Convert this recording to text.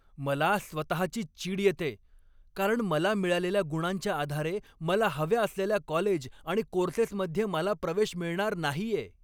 मला स्वतःचीच चीड येते, कारण मला मिळालेल्या गुणांच्या आधारे मला हव्या असलेल्या कॉलेज आणि कोर्सेसमध्ये मला प्रवेश मिळणार नाहीये.